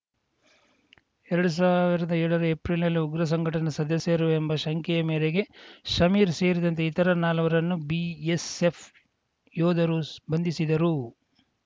ಎರಡು ಸಾವಿರ್ದಾ ಏಳರ ಏಪ್ರಿಲ್‌ನಲ್ಲಿ ಉಗ್ರ ಸಂಘಟನೆಯ ಸದಸ್ಯರು ಎಂಬ ಶಂಕೆ ಮೇರೆಗೆ ಸಮೀರ್‌ ಸೇರಿದಂತೆ ಇತರ ನಾಲ್ವರನ್ನು ಬಿಎಸ್‌ಎಫ್‌ ಯೋಧರು ಬಂಧಿಸಿದರು